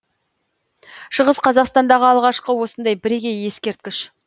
шығыс қазақстандағы алғашқы осындай бірегей ескерткіш